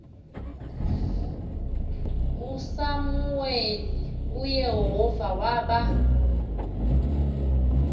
usamuweli uyehova waba